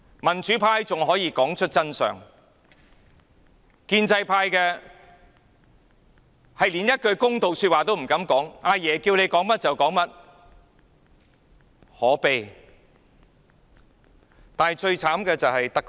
民主派仍能說出真相，但建制派連一句公道話也不敢說，"阿爺"要求他們說甚麼，他們便說甚麼，真可悲！